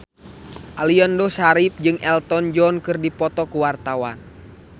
Aliando Syarif jeung Elton John keur dipoto ku wartawan